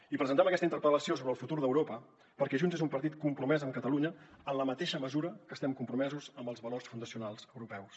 i presentem aquesta interpel·lació sobre el futur d’europa perquè junts és un partit compromès amb catalunya en la mateixa mesura que estem compromesos amb els valors fundacionals europeus